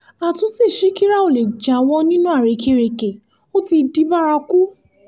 àtúntí ṣíkíra ò lè jáwọ́ nínú àrékérekè ó ti di bárakú